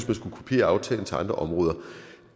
man skulle kopiere aftalen til andre områder